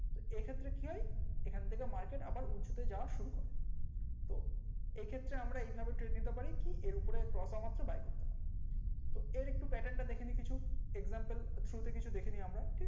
এই ক্ষেত্রে কি হয় এটা এখান থেকে market আবার উঁচুতে যাওয়া শুরু করে তো এই ক্ষেত্রে আমরা এই ভাবে নিতে পারি কি আর উপরে cross হয়া মাত্র buy করতে পারি তো এর একটু pattern টা দেখে নি কিছু example through তে কিছু দেখে নি আমরা